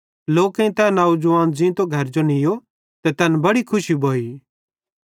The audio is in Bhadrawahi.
लोकेईं तै नौजवान ज़ींतो घरजो नीयो ते तैन बड़ी खुशी भोइ